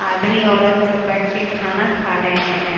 आदमी औरत सब बैठ के खाना खा रहे हैं।